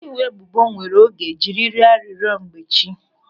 Ọkaiwu ebubo were oge jiri rịọ arịrịọ mmechi.